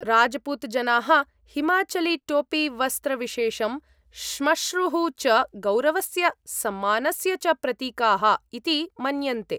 राज्पूत् जनाः हिमाचलीटोपीवस्त्रविशेषं, श्मश्रूः च गौरवस्य सम्मानस्य च प्रतीकाः इति मन्यन्ते।